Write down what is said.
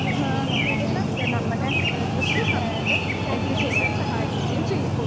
ഹാ ഏഹ് എല്ലാ വിദ്യാർഥികൾക്കും കൃത്യസമയത്ത് എത്തിച്ചേരാൻ സഹായിക്കുകയും ചെയ്യുന്നു.